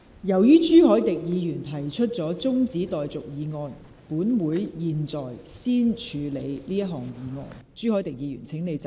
由於朱凱廸議員提出了中止待續議案，本會現在先處理這項議案。